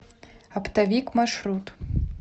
оптовик маршрут